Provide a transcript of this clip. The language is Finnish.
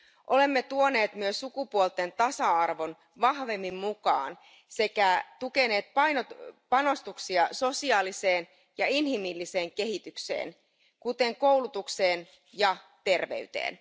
Olemme tuoneet myös sukupuolten tasa arvon vahvemmin mukaan sekä tukeneet panostuksia sosiaaliseen ja inhimillisen kehitykseen, kuten koulutukseen ja terveyteen.